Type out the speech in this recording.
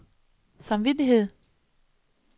samvittighed